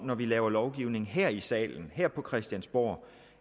når vi laver lovgivning her i salen på christiansborg